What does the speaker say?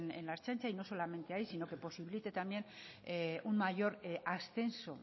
en la ertzaintza y no solamente ahí sino que posibilite también un mayor ascenso